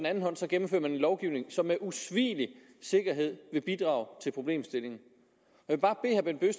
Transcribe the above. lovgivning som med usvigelig sikkerhed vil bidrage til problemstillingen